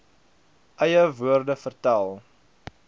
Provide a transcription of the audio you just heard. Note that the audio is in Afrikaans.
eie woorde vertel